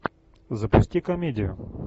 запусти комедию